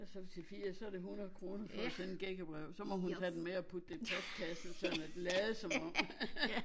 Og så til fire så er det 100 kroner for at sende et gækkebrev så må hun tage den med og putte det i postkassen sådan at lade som om